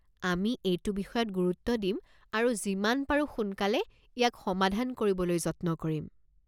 আমি এইটো বিষয়ত গুৰুত্ব দিম আৰু যিমান পাৰো সোনকালে ইয়াক সমাধান কৰিবলৈ যত্ন কৰিম।